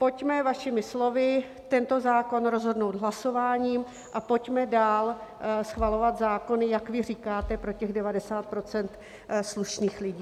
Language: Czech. Pojďme, vašimi slovy, tento zákon rozhodnout hlasováním a pojďme dál schvalovat zákony, jak vy říkáte, pro těch 90 % slušných lidí.